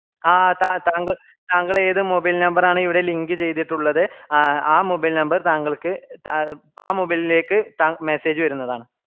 ആഹ് താ താങ്കൾ താങ്കൾ ഏത് mobile number ആണീവിഡെ link ച്യ്തിട്ടുള്ളത് ആ mobile number താങ്കള്ക്ക് ആ mobile ലേക് ത message വരുന്നതാണ്